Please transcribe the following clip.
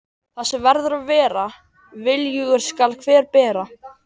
Það sem verður að vera, viljugur skal hver bera.